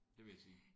Det vil jeg sige